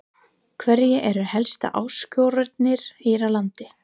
Hverjar eru helstu áskoranirnar hér á landi?